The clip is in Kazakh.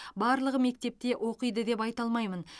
барлығы мектепте оқиды деп айта алмаймын